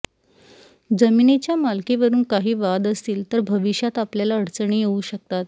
जमिनीच्या मालकीवरून काही वाद असतील तर भविष्यात आपल्याला अडचणी येऊ शकतात